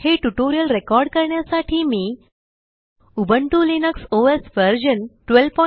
हे टयूटोरिअलरेकॉर्ड करण्यासाठी मी उबुंटू लिनक्स ओएस व्हर्शन 1204